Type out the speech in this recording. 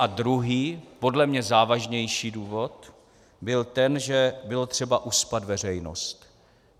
A druhý, podle mě závažnější důvod byl ten, že bylo třeba uspat veřejnost.